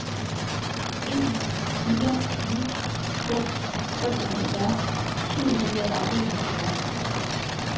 en fire ni fem femoghalvfjerds syv hundrede og enoghalvfjerds